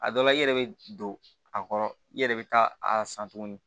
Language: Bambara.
A dɔ la i yɛrɛ bɛ don a kɔrɔ i yɛrɛ bɛ taa a san tuguni